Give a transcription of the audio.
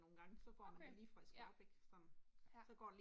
Okay, ja, ja